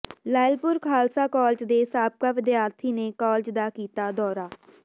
Lyallpur Khalsa college ਦੇ ਸਾਬਕਾ ਵਿਦਿਆਰਥੀ ਨੇ ਕਾਲਜ ਦਾ ਕੀਤਾ ਦੌਰਾ